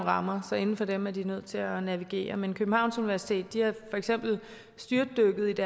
rammer så inden for dem er de nødt til at navigere men københavns universitet er for eksempel styrtdykket